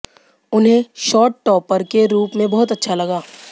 उन्हें शोस्टॉपर के रूप में बहुत अच्छा लगा